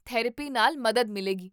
therapy ਨਾਲ ਮਦਦ ਮਿਲੇਗੀ